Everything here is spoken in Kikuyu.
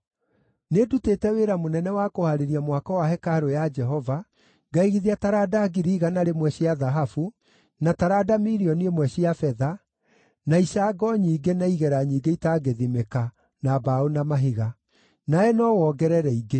“Nĩndutĩte wĩra mũnene wa kũhaarĩria mwako wa hekarũ ya Jehova, ngaigithia taranda 100,000 cia thahabu, na taranda 1,000,000 cia betha, na icango nyingĩ na igera nyingĩ itangĩthimĩka, na mbaũ na mahiga. Nawe no wongerere ingĩ.